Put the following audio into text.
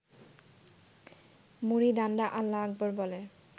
মুরিদানরা আল্লাহু আকবর বলে